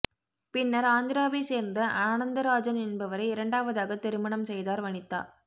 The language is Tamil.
பின்னர் ஆந்திராவை சேர்ந்த ஆனந்தராஜன் என்பவரை இரண்டாவதாக திருமணம் செய்தார் வனிதா